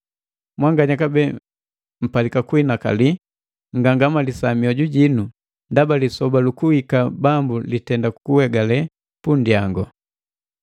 Mwanganya kabee mpalika kuhinakali, nngangamalisa mioju jinu, ndaba lisoba lu kuhika Bambu litenda kuhegali punndyangu.